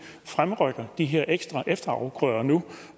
fremrykker de her ekstra efterafgrøder nu